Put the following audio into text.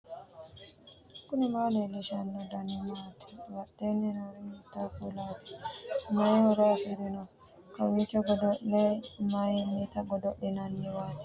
knuni maa leellishanno ? danano maati ? badheenni noori hiitto kuulaati ? mayi horo afirino ? kawiichi godo'le mayinnita godo'linanniwaati barccimma gidddo nooti maa assinanniteikka